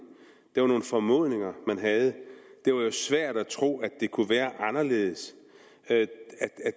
det var nogle formodninger man havde det var jo svært at tro at det kunne være anderledes at